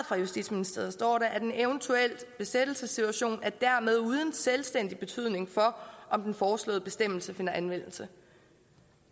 fra justitsministeriet står der at en eventuel besættelsessituation dermed er uden selvstændig betydning for om den foreslåede bestemmelse finder anvendelse